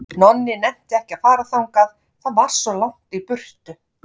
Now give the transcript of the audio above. Nonni nennti ekki að fara þangað, það var svo langt í burtu.